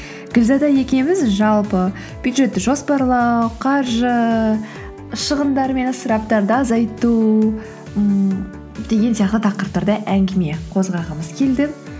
гүлзада екеуміз жалпы бюджетті жоспарлау қаржы шығындар мен ысыраптарды азайту ммм деген сияқты тақырыптарды әңгіме қозғағымыз келді